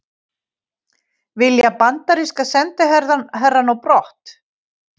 Vilja bandaríska sendiherrann á brott